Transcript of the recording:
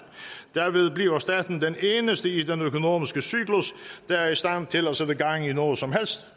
derved bliver staten den eneste i den økonomiske cyklus der er i stand til at sætte gang i noget som helst